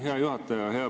Hea juhataja!